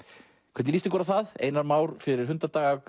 hvernig líst ykkur á það einar Már fyrir